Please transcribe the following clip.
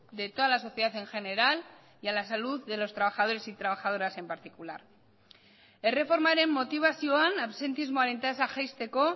de toda la sociedad en general y a la salud de los trabajadores y trabajadoras en particular erreformaren motibazioan absentismoaren tasa jaisteko